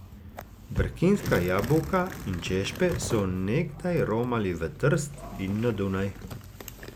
Brkinska jabolka in češpe so nekdaj romali v Trst in na Dunaj.